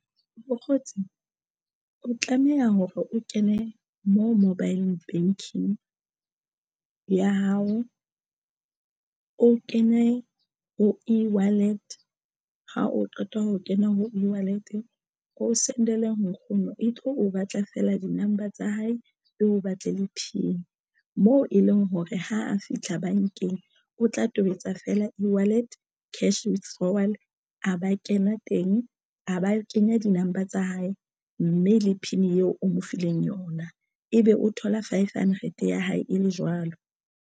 Mokgotsi o tlameha hore o kene mo mobile banking ya hao o kene ho ewallet ha o qeta ho kena o send-ele nkgono e tlo o batla fela di number tsa hae e o batle le PIN moo e leng hore ha a fihla bankeng, o tla tobetsa feela feela ewallet cash withdrawal a ba kena teng, a ba kenya di number tsa hae mme le PIN eo o mo fileng yona ebe o thola five hundred ya hae e le jwalo.